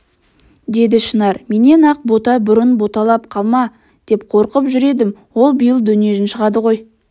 деді шынар менен ақ бота бұрын боталап қала ма деп қорқып жүр едім ол биыл дөнежін шығады ғой